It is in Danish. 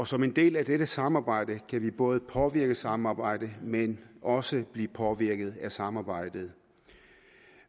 som en del af dette samarbejde kan vi både påvirke samarbejdet men også blive påvirket af samarbejdet